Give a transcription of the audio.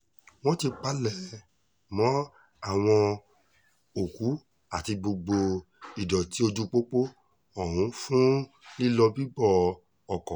wọ́n ti palẹ̀mọ àwọn òkú àti gbogbo ìdọ̀tí ojúpọpọ ohun fún lílọ-bíbọ ọkọ̀